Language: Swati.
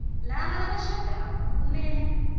laba labashadako kumele